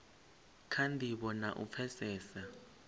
kha ndivho na u pfesesa